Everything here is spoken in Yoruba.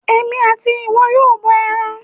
Èmi àti ìwọ yóò bọ ẹran.